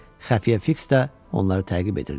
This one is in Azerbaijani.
Xəfiyyə Fiks də onları təqib edirdi.